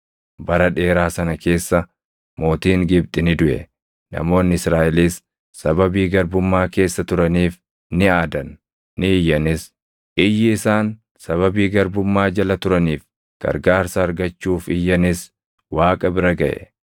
Bara dheeraa sana keessa mootiin Gibxi ni duʼe. Namoonni Israaʼelis sababii garbummaa keessa turaniif ni aadan; ni iyyanis; iyyi isaan sababii garbummaa jala turaniif gargaarsa argachuuf iyyanis Waaqa bira gaʼe.